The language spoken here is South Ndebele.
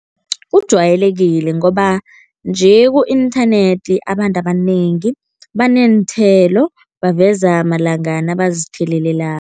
Ujwayelekile ngoba nje ku-inthanethi abantu abanengi baneenthelo, baveza malanga nabazithelelelako.